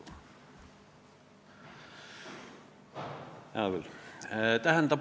Hea küll!